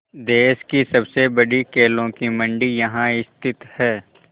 देश की सबसे बड़ी केलों की मंडी यहाँ स्थित है